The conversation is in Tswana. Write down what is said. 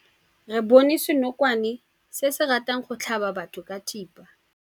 Re bone senokwane se se ratang go tlhaba batho ka thipa.